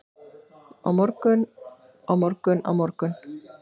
morgun, á morgun, á morgun.